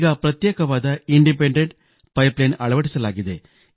ಈಗ ಪ್ರತ್ಯೇಕವಾದ independent pipeline ಅಳವಡಿಸಲಾಗಿದೆ